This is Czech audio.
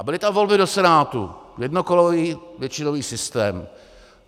A byly to volby do Senátu, jednokolový většinový systém.